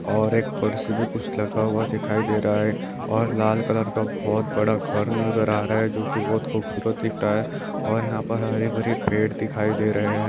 और एक कुर्सी पे कुछ लगा हुआ दिखाई दे रहा है और लाल कलर का बहुत बड़ा घर नज़र आ रहा है और यहाँ पर हरे-भरे पेड़ दिखाई दे रहे है।